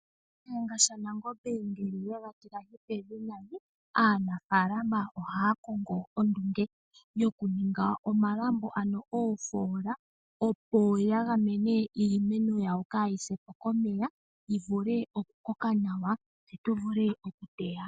Shiyenga shaNangombe ngele ye ga tile pevi nayi, aanafalama ohaya kongo ondunge yokuninga omalambo ano oofola opo ya gamene iimeno yawo kayi sepo komeya yi vule okukoka nawa yo yi vule okutewa.